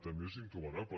també és intolerable